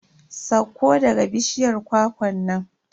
Sauko daga bishiyar kwakwan nan.